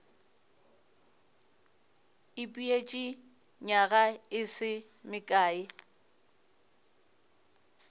ipeetše nywaga e se mekae